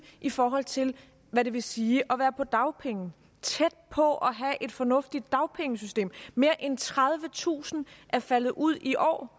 i forhold til hvad det vil sige at være på dagpenge tæt på at have et fornuftigt dagpengesystem mere end tredivetusind er faldet ud i år